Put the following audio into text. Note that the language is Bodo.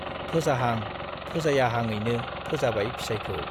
फोजाहां फोजायाहांयैनो फोजाबाय फिसाइखौ ।